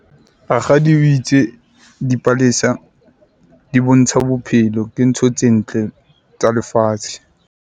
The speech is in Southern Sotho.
Rakgadi o itse dipalesa di bontsha bophelo. Ke ntho tse ntle tsa lefatshe.